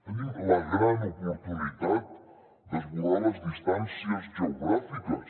tenim la gran oportunitat d’esborrar les distàncies geogràfiques